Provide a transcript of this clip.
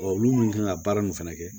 olu min kan ka baara nin fɛnɛ kɛ